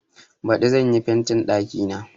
Baɗi zan yi fentin ɗakina.